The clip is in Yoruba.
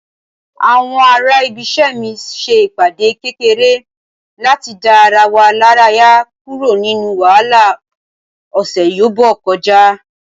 àwọn ará ibise mi se ìpàdé kekere lati da ara wa laraya kuro ninu wahala ọsẹ yobo kọjá